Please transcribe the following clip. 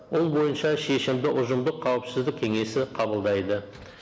ол бойынша шешімді ұжымдық қауіпсіздік кеңесі қабылдайды